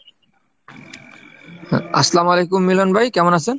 আসসালামু আলাইকুম মিলন ভাই, কেমন আছেন?